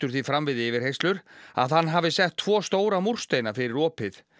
því fram við yfirheyrslur að hann hafi sett tvo stóra múrsteina fyrir opið